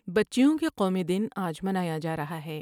بچیوں کے قومی دن آج منایا جارہا ہے ۔